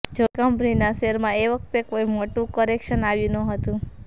જોકે કંપનીના શેરમાં તે વખતે કોઈ મોટું કરેક્શન આવ્યું નહોતું